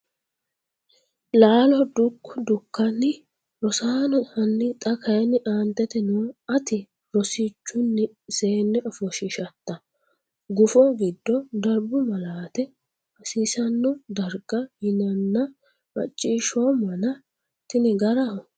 Laalo Dukko Dukkani, Rosaano hanni xa kayinni aantete noo “Ati rosichunni seenne ofoshshiishatta gufo giddo darbu malaate hasiisanno darga yinanna macciishshoommana, tini garaho?